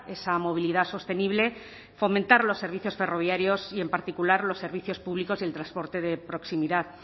esa movilidad sostenible fomentar los servicios ferroviarios y en particular los servicios públicos y el transporte de proximidad